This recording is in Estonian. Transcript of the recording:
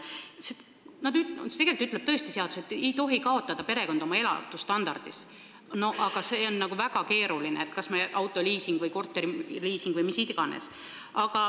Seadus ütleb tõesti, et perekond ei tohi kaotada oma elustandardis, aga see on väga keeruline, sest inimestel on autoliising, korteriliising või mis tahes.